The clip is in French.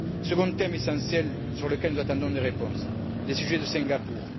Second thème essentiel sur lequel nous attendons une réponse les sujets de Singapour.